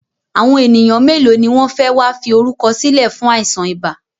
Àwọn ènìyàn mélòó ni wọn fẹ wá fi orúkọ sílẹ̀ fún àìsàn ibà?